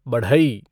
बढ़ई